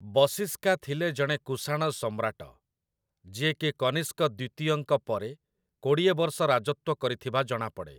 ବଶିଷ୍କା ଥିଲେ ଜଣେ କୁଶାଣ ସମ୍ରାଟ, ଯିଏ କି କନିଷ୍କ ଦ୍ୱିତୀୟଙ୍କ ପରେ କୋଡ଼ିଏ ବର୍ଷ ରାଜତ୍ୱ କରିଥିବା ଜଣାପଡ଼େ ।